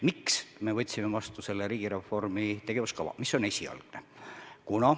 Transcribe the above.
Miks me võtsime vastu selle riigireformi esialgse tegevuskava?